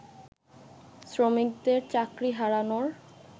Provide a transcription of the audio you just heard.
শ্রমিকদের চাকরি হারানোর